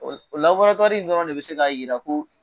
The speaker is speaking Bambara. in dɔrɔnw de bɛ se k'a jira ko